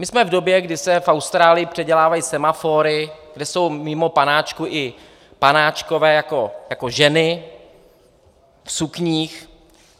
My jsme v době, kdy se v Austrálii předělávají semafory, kde jsou mimo panáčků i panáčkové jako ženy v sukních.